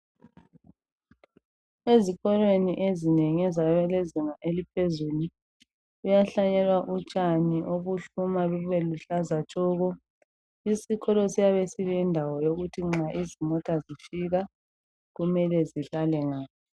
Ezikolweni ezinengi ezabalezinga eliphezulu, kuyahlanyelwa utshani obuhluma lube luhlaza tshoko isikolo siyabe silendawo yokuthi nxa izimota zifika kumele zihlale nga.